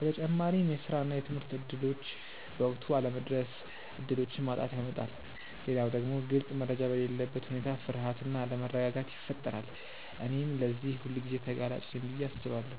በተጨማሪም የስራ እና የትምህርት እድሎች በወቅቱ አለመድረስ እድሎችን ማጣትን ያመጣል። ሌላው ደግሞ ግልጽ መረጃ በሌለበት ሁኔታ ፍርሃት እና አለመረጋጋት ይፈጠራል። እኔም ለዚህ ሁልጊዜ ተጋላጭ ነኝ ብዬ አስባለሁ።